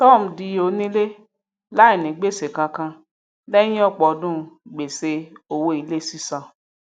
tom di onílé láìní gbèsè kankan lẹyìn ọpọ ọdún gbèsè owó ilé sísan